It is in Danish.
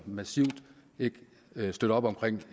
massivt ikke støtter op om